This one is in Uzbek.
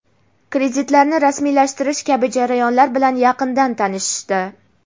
kreditlarni rasmiylashtirish kabi jarayonlar bilan yaqindan tanishishdi.